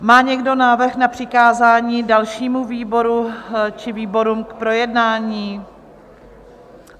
Má někdo návrh na přikázání dalšímu výboru či výborům k projednání?